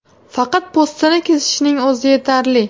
Faqat po‘stini kesishning o‘zi yetarli.